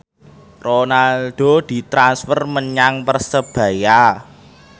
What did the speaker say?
Ronaldo ditransfer menyang Persebaya